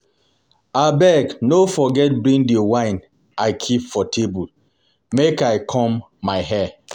Abeg no forget bring the wine I keep for table make I comb my hair